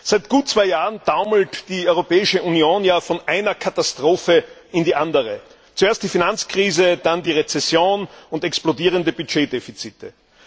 Seit gut zwei Jahren taumelt die Europäische Union von einer Katastrophe in die andere zuerst die Finanzkrise, dann die Rezession und explodierende Budgetdefizite.